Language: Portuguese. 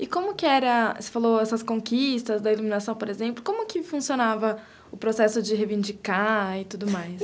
E como que era, você falou essas conquistas da iluminação, por exemplo, como que funcionava o processo de reivindicar e tudo mais?